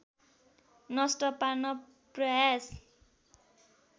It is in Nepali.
नष्ट पार्न प्रयास